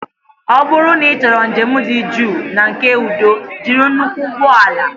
Ọ bụrụ na ịchọrọ njem dị jụụ na nke udo jiri nnukwu ụgbọ ala